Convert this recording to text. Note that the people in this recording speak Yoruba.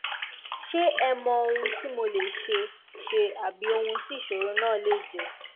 ṣe ẹ mọ ohun tí mo lè ṣe ṣe àbí ohun tí ìṣòro náà lè jẹ